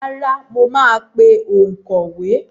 Rárá, mo máa pe òǹkọ̀wé.